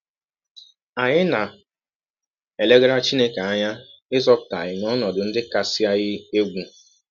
Anyị na - elegara Chineke anya ịzọpụta anyị n’ọnọdụ ndị kasị eyi egwụ.